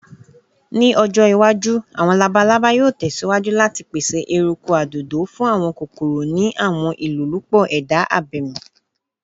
Ni ojo iwaju, awọn labalaba yoo tẹsiwaju lati pese eruku adodo fun awọn kokoro ni awọn ilolupo eda abemi.